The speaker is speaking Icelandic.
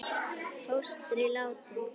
Fóstri látinn.